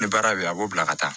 Ni baara be yen a b'o bila ka taa